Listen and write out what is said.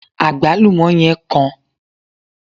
agbalumo yen kan